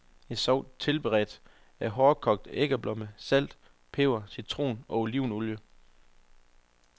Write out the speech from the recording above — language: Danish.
En sovs tilberedes af hårdkogte æggeblommer, salt, peber, citron og olivenolie.